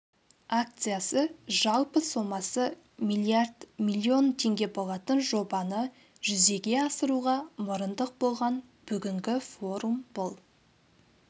акциясы жалпы сомасы миллиард миллион теңге болатын жобаны жүзеге асыруға мұрындық болған бүгінгі форум бұл